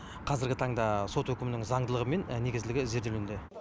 қазіргі таңда сот үкімінің заңдылығы мен негізділігі зерделенуде